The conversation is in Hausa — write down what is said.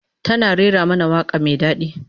Tana rera mana waka mai dadi